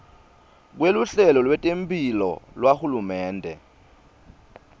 kweluhlelo lwetemphilo lwahulumende